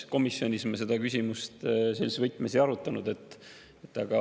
Komisjonis me seda küsimust sellises võtmes ei arutanud.